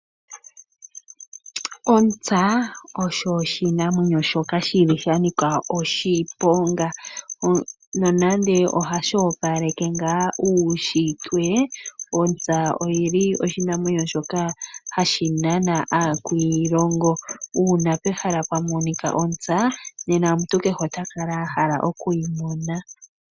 Ontsa osho oshinamwenyo shoka shi li shanika oshiponga. Nonando ohashi opaleke ngaa uushitwe, ontsa oyi li oshinamwenyo shoka hashi nana aakwiilongo. Uuna pehala pwamonika ontsa nena omuntu kehe ota kala ahala okuyi mona.